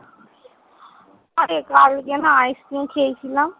অরে কালকে নাহ ice-cream খেয়েছিলাম।